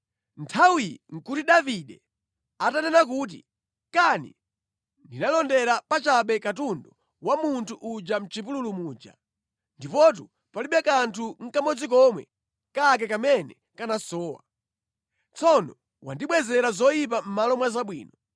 Nthawiyi nʼkuti Davide atanena kuti, “Kani ndinalondera pachabe katundu wa munthu uyu mʼchipululu muja! Ndipotu palibe kanthu nʼkamodzi komwe kake kamene kanasowa. Tsono wandibwezera zoyipa mʼmalo mwa zabwino.